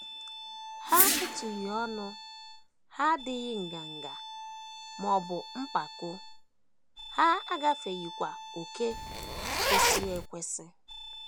Ha etughị ọnụ, ha adịghị nganga, ma ọ bụ mpako, ha agafeghịkwa ókè kwesịrị ekwesị.